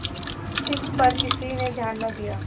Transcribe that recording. इस पर किसी ने ध्यान न दिया